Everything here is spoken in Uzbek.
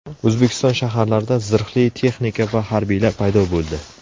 O‘zbekiston shaharlarida zirhli texnika va harbiylar paydo bo‘ldi.